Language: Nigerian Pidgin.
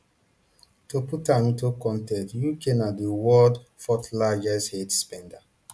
to put am into context uk na di world fourthlargest aid spender